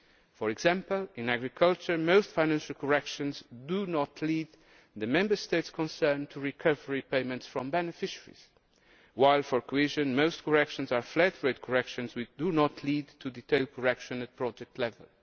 For example, in agriculture most financial corrections do not lead the Members States concerned to recover payments from beneficiaries, while for cohesion most corrections are flat rate corrections which do not lead to detailed correction at project level.